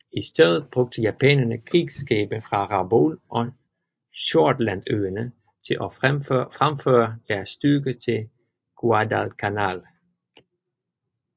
I stedet brugte japanerne krigsskibe fra Rabaul og Shortlandøerne til at fremføre deres styrker til Guadalcanal